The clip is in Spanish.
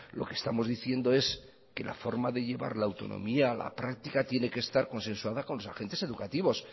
lo que estamos diciendo es que la forma de llevar la autonomía a la práctica tiene que estar consensuada con los agentes educativos